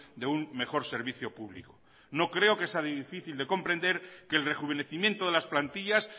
de un mejor servicio público no creo que sea difícil de comprender que el rejuvenecimiento de las plantillas